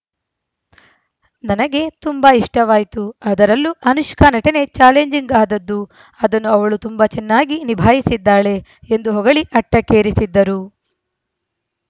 ನನಗೆ ತುಂಬಾ ಇಷ್ಟವಾಯ್ತು ಅದರಲ್ಲೂ ಅನುಷ್ಕಾ ನಟನೆ ಚಾಲೆಂಜಿಂಗ್‌ ಆದದ್ದು ಅದನ್ನು ಅವಳು ತುಂಬಾ ಚೆನ್ನಾಗಿ ನಿಭಾಯಿಸಿದ್ದಾಳೆ ಎಂದು ಹೊಗಳಿ ಅಟ್ಟಕ್ಕೇರಿಸಿದ್ದರು